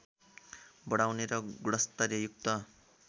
बढाउने र गुणस्तरयुक्त